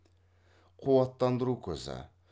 қуаттандыру көзі